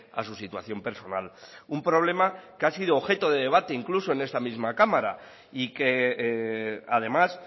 a su situación personal un problema que ha sido objeto de debate incluso en esta misma cámara y que además